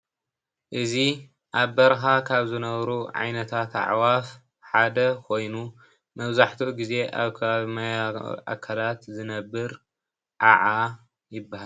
እዚ ኣብ በረኻ ካብ ዝነብሩ ዓይነታት ኣዕዋፍ ሓደ ኮይኑ መብዛሕቲኡ ግዜ ኣብ ከባቢ ማያዊ ኣካላት ዝነብር ዓዓ ይብሃል።